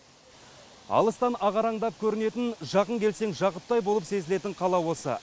алыстан ағараңдап көрнетін жақын келсең жақұттай болып сезілетін қала осы